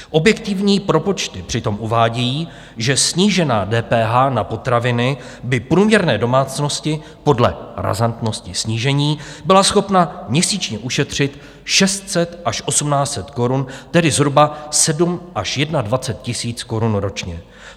Objektivní propočty přitom uvádějí, že snížená DPH na potraviny by průměrné domácnosti podle razantnosti snížení byla schopna měsíčně ušetřit 600 až 1 800 korun, tedy zhruba 7 až 21 tisíc korun ročně.